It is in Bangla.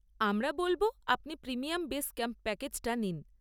আমরা বলব আপনি প্রিমিয়াম বেস ক্যাম্প প্যাকেজটা নিন।